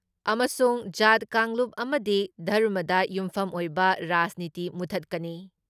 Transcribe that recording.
ꯑꯃꯁꯨꯡ ꯖꯥꯠ ꯀꯥꯡꯂꯨꯞ ꯑꯃꯗꯤ ꯙꯔꯃꯗ ꯌꯨꯝꯐꯝ ꯑꯣꯏꯕ ꯔꯥꯖꯅꯤꯇꯤ ꯃꯨꯊꯠꯀꯅꯤ ꯫